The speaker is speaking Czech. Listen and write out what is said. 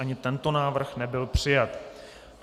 Ani tento návrh nebyl přijat.